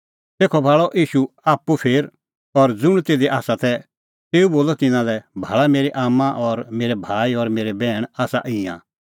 तेखअ भाल़अ ईशू आप्पू फेर और ज़ुंण तिधी तै तिन्नां लै बोलअ भाल़ा मेरी आम्मां और मेरै भाई और बैहण आसा ईंयां